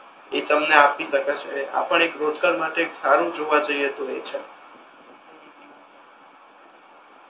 એ તમને આપી શકે છે આ પણ એક રોજગાર માટે સારુ જોવા જઈએ તો એ છે હમ હમ